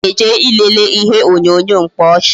Ọ na-eje ilele ihe onyonyo mkpaọchị